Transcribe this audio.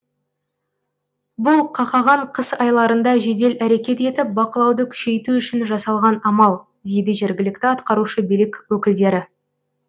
бұл қақаған қыс айларында жедел әрекет етіп бақылауды күшейту үшін жасалған амал дейді жергілікті атқарушы билік өкілдері